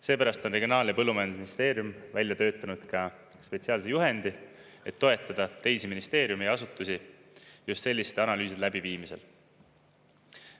Seepärast on Regionaal- ja Põllumajandusministeerium välja töötanud ka spetsiaalse juhendi, et toetada teisi ministeeriume ja asutusi just selliste analüüside läbiviimisel.